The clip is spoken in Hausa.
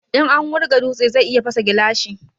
In an wurga dutse zai iya fasa gilashi